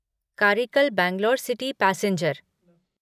Karikal Bangalore city passenger